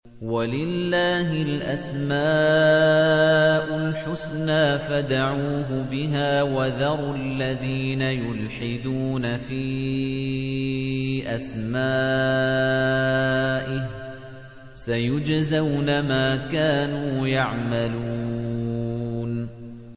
وَلِلَّهِ الْأَسْمَاءُ الْحُسْنَىٰ فَادْعُوهُ بِهَا ۖ وَذَرُوا الَّذِينَ يُلْحِدُونَ فِي أَسْمَائِهِ ۚ سَيُجْزَوْنَ مَا كَانُوا يَعْمَلُونَ